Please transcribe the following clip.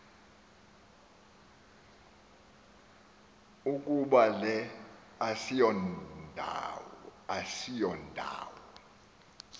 ukuba le asiyondawo